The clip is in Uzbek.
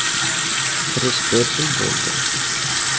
Kirish bepul bo‘ldi.